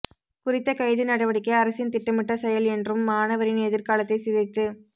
குறித்த கைது நடவடிக்கை அரசின் திட்டமிட்ட செயல் என்றும் மாணவரின் எதிர்காலத்தை சிதைத்து